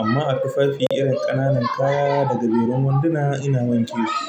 Amma a tufafi irin ƙananan kaya daga gajerun wanduna ina wanke shi.